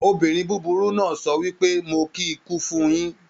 Obìnrin búburú náà sọ wípé "Mo kí ikú fun yín"